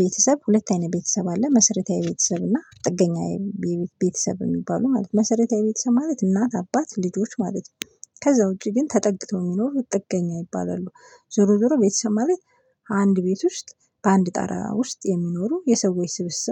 ቤተሰብ ሁለት አይነት ቤተሰብ አለ መሰረታዊ ቤተሰብ እና ጥገኛዊ ቤተሰብ የሚባሉ ማለት ነው። መሰረታዊ ቤተሰብ ማለት እናት አባት ልጆች ማለት ነው። ከዛ ውጪ ግን ተጠግተው የሚኖሩት ጥገኛ ይባላሉ። ዞሮ ዞሮ ቤተሰብ ማለት አንድ ቤቶች ውስጥ በአንድ ጣራ ውስጥ የሚኖሩ የሰዎች ስብስብ